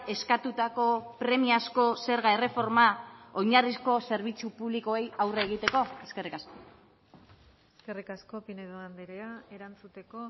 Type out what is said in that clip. eskatutako premiazko zerga erreforma oinarrizko zerbitzu publikoei aurre egiteko eskerrik asko eskerrik asko pinedo andrea erantzuteko